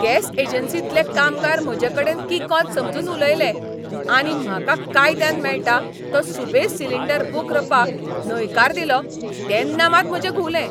Gas एजन्सींतले कामगार म्हजेकडेन किकोंत समजून उलयले आनी म्हाका कायद्यान मेळटा तो सुबेज सिलिंडर बूक रपाक न्हयकार दिलो तेन्ना मात म्हजे घुंवलें.